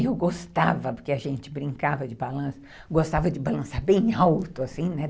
Eu gostava, porque a gente brincava de balança, gostava de balança bem alto, assim, né?